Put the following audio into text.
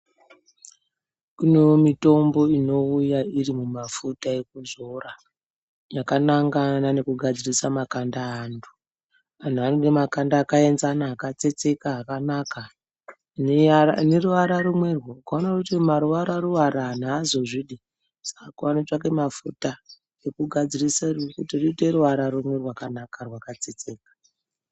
Kunewo mutombo inouya irimumafuta ekuzora. Yakanangana nekugadzirisa makanda eantu . Antu anoda makanda akaenzana akatsetseka akanaka aneruwara rumwerwo. Ukaona weiti ruwara ruwara antu haazozvidi unofana kutsvaka mafuta ekugadzirisa kuti riite rimwe ruwara rumwe rwakanaka rwakatsetseka.